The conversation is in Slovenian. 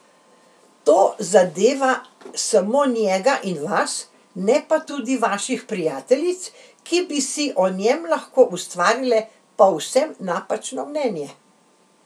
To zadeva samo njega in vas, ne pa tudi vaših prijateljic, ki bi si o njem lahko ustvarile povsem napačno mnenje.